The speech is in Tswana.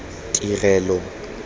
tirelo